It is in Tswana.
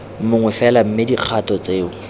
mongwe fela mme dikgato tseo